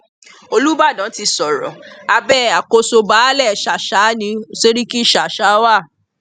olùbàdàn ti sọrọ abẹ àkóso baálẹ sàsà ní sẹríkì ṣàṣà wa